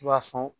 I b'a sɔn